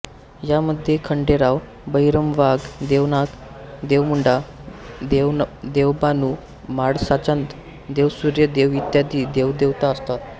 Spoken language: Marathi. यामध्ये खंडेरावबहिरमवाघ देवनाग देवमुंडा देवबानुम्हाळसाचांद देवसूर्य देवईत्यादी देवदेवता असतात